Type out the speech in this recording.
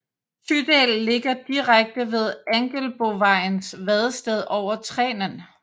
Tydal ligger direkte ved Angelbovejens vadested over Trenen